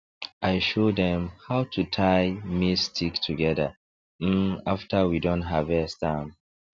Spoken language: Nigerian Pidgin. i show dem how to tie maize stick together um after we don harvest am